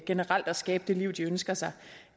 generelt at skabe det liv de ønsker sig